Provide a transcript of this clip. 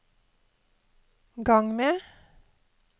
gang med